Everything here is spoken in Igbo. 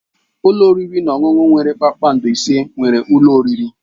Ụlọ oriri na ọṅụṅụ nwere akara kpakpando ise nwere ụlọ oriri.